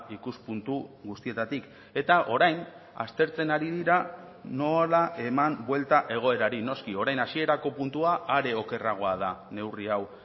ikuspuntu guztietatik eta orain aztertzen ari dira nola eman buelta egoerari noski orain hasierako puntua are okerragoa da neurri hau